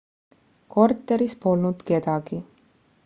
korteris polnud kedagi